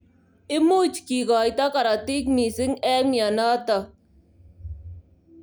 imuch kikoito karotik missing eng mnyenotok.